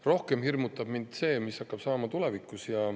Rohkem hirmutab mind see, mis hakkab saama tulevikus.